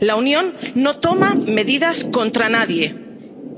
La Unión no toma medidas contra nadie